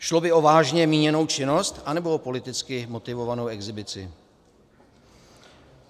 Šlo by o vážně míněnou činnost, anebo o politicky motivovanou exhibici?